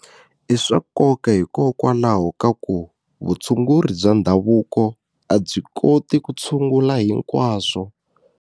I swa nkoka hikokwalaho ka ku vutshunguri bya ndhavuko a byi koti ku tshungula hinkwaswo.